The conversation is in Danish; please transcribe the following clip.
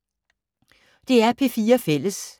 DR P4 Fælles